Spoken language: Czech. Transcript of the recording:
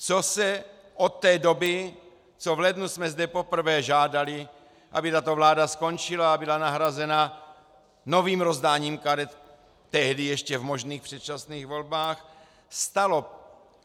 Co se od té doby, co v lednu jsme zde poprvé žádali, aby tato vláda skončila a byla nahrazena novým rozdáním karet tehdy ještě v možných předčasných volbách, stalo?